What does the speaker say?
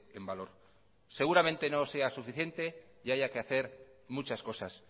en valor seguramente no sea suficiente y haya que hacer muchas cosas